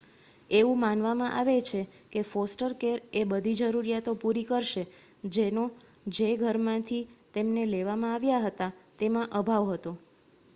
એવું માનવામાં આવે છે કે ફોસ્ટર કેર એ બધી જરૂરીયાતો પૂરી કરશે જેનો જે ઘરમાંથી તેમને લેવામાં આવ્યા હતા તેમાં અભાવ હતો